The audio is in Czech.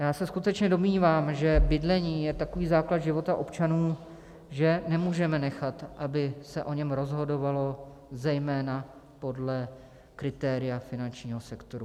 Já se skutečně domnívám, že bydlení je takový základ života občanů, že nemůžeme nechat, aby se o něm rozhodovalo zejména podle kritéria finančního sektoru.